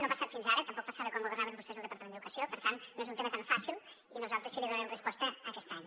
no ha passat fins ara tampoc passava quan governaven vostès el departament d’educació per tant no és un tema tan fàcil i nosaltres sí que hi donarem resposta aquest any